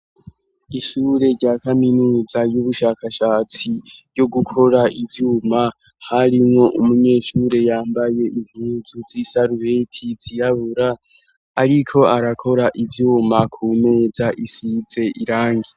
Ishure rya kaminuza ry'ubushakashatsi ryo gukora ivyuma ,harimwo umunyeshure yambaye impuzu z'isarubeti zirabura ariko arakora ivyuma ku meza isize irangi .